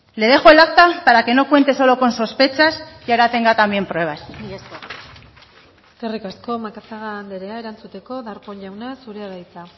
le dejo el acta para que no cuente solo con sospechas y ahora tenga también pruebas mila esker eskerrik asko macazaga andrea erantzuteko darpón jauna zurea da hitza